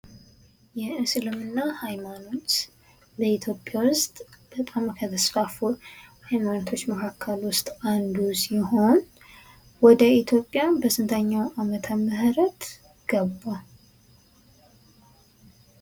የእስልምና ሃይማኖት ፦ በኢትዮጵያ ውስጥ ከተስፋፉ ሃይማኖቶች መካከል ውስጥ አንዱ ሲሆን ወደ ኢትዮጵያ በስንተኛው ዓመተ ምህረት ገባ ?